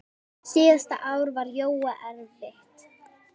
Drífa mín?